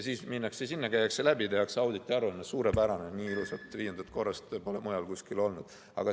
Siis minnakse sinna, käiakse läbi, tehakse auditi aruanne: suurepärane, nii ilusat viiendat korrust pole mujal kusagil olnud.